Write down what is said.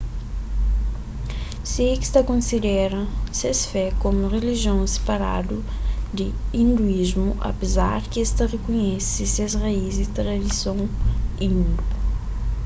sikhs ta konsidera ses fé komu un rilijion siparadu di hinduísmu apezar di es ta rikonhese ses raíz y tradison hindu